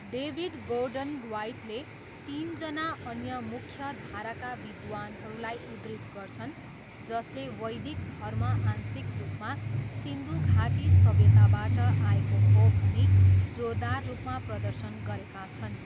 David Gordon ह्वाइटले तिनजना अन्य मुख्यधाराका विद्वानहरूलाई उद्धृत गर्छन् जसले वैदिक धर्म आंशिक रूपमा सिन्धु घाटी सभ्यताबाट आएको हो भनी जोरदार रूपमा प्रदर्शन गरेका छन्।